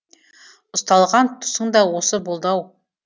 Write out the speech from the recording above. ұсталған тұсың да осы болды ау